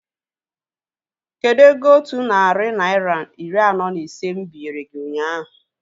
Kedụ ego otu narị naira iri anọ na ise mụ binyere gị ụnyaahụ?